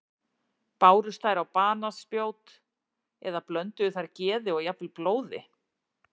Bárust þær á banaspjót eða blönduðu þær geði og jafnvel blóði?